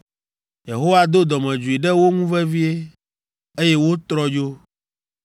Yehowa do dɔmedzoe ɖe wo ŋu vevie, eye wotrɔ dzo.